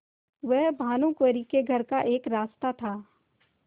वह भानुकुँवरि के घर का एक रास्ता था